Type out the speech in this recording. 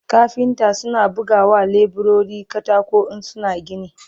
kafinta suna buga wa leburori katako in suna gini